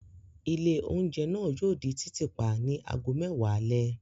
Ilé-oúnjẹ náà yóò di títì pa ní ago mẹ́wàá alẹ́.